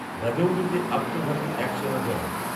রাজৌরিতে আত্মঘাতী এক সেনা জওয়ান